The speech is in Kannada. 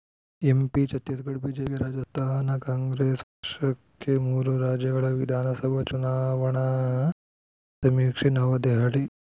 ಎಂಪಿ ಛತ್ತೀಸ್‌ಗಢ ಬಿಜೆಪಿಗೆ ರಾಜಸ್ಥಾನ ಕಾಂಗ್ರೆಸ್‌ ವಶಕ್ಕೆ ಮೂರು ರಾಜ್ಯಗಳ ವಿಧಾನಸಭಾ ಚುನಾವಣಾ ಸಮೀಕ್ಷೆ ನವದೆಹಲಿ